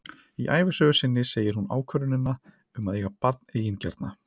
Í ævisögu sinni segir hún ákvörðunina um að eiga barn eigingjarna.